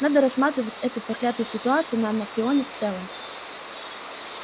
надо рассматривать эту проклятую ситуацию на анакреоне в целом